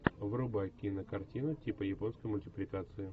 врубай кинокартину типа японской мультипликации